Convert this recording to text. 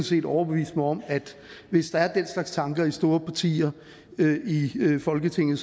set overbeviste mig om at hvis der er den slags tanker i store partier i folketinget